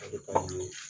A bɛ taa ni